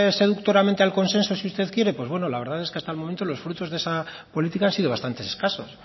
seductoramente al consenso si usted quiere pues la verdad es que hasta el momento los frutos de esa política han sido bastantes escasos